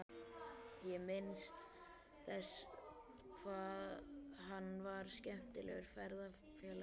Ég minnist þess hvað hann var skemmtilegur ferðafélagi.